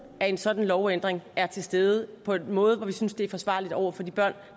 af en sådan lovændring er til stede på en måde at vi synes det er forsvarligt over for de børn